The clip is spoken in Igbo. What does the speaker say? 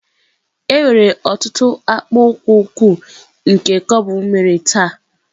Enwere ọtụtụ akpụkpọ ụkwụ nke cobble mere taa.